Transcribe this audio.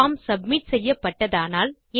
form submit செய்யப்பட்டதானால்